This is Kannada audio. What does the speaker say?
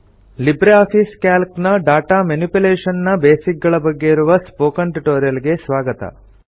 ಲಿಬ್ರೆ ಆಫೀಸ್ ಕ್ಯಾಲ್ಕ್ ನ ಡಾಟಾ ಮೆನಿಪ್ಯುಲೇಶನ್ ನ ಬೇಸಿಕ್ ಗಳ ಬಗ್ಗೆ ಇರುವ ಸ್ಪೋಕನ್ ಟ್ಯುಟೋರಿಯಲ್ ಗೆ ಸ್ವಾಗತ